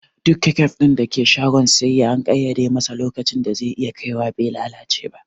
Duk kecup ɗin da ke shagon siyayya an ƙaiyade masa lokacin da ze iya kaiwa be lalace ba